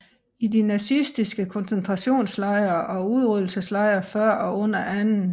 I de nazistiske konzentrationslejre og udryddelseslejre før og under 2